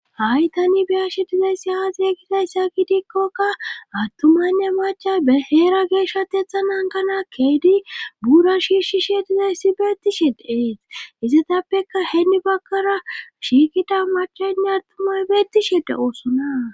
Hay tani biyashe dizay siha zeeygisayssa gidikkokka attumanne macha baheera geeshateethanan kana keedi buura shiishishe dizay sibeeti shede eet izatappeka heni bagkara shiikida machanne attumay beetishede oosona